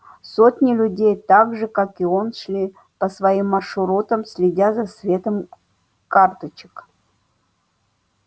сотни людей так же как и он шли по своим маршрутам следя за светом карточек